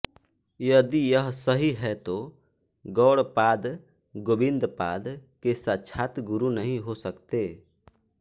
यदि यह सही है तो गौड़पाद गोविंदपाद के साक्षात् गुरु नहीं हो सकते